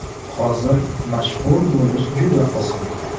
Hozir mashhur bo‘lish juda oson.